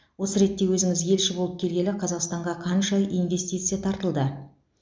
осы ретте өзіңіз елші болып келгелі қазақстанға қанша инвестиция тартылды